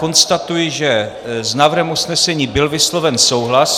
Konstatuji, že s návrhem usnesení byl vysloven souhlas.